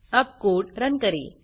अब code run करें